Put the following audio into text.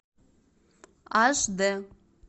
аш д